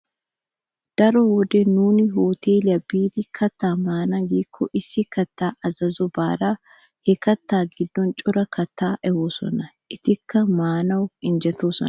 Daro wode nuuni hoteeliya biidi kattaa maana giikko issi kattaa azazobare he kattaa giddon cora kattata ehoosona. Etikka muussawu injjetoosona.